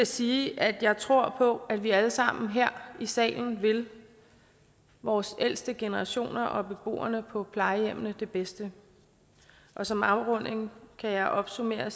sige at jeg tror på at vi alle sammen her i salen vil vores ældste generationer og beboerne på plejehjemmene det bedste som afrunding kan jeg opsummere